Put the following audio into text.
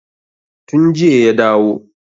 Tun jiya ya dawo.